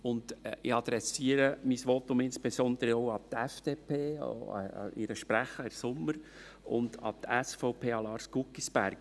Ich adressiere mein Votum insbesondere auch an die FDP, auch an ihren Sprecher, Herrn Sommer, und an die SVP und an Lars Guggisberg.